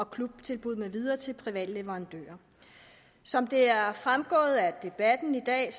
klubtilbud med videre til private leverandører som det er fremgået af debatten i dag er